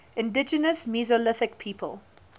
indigenous mesolithic people